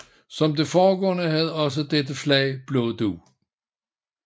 Som det foregående havde også dette flag blå dug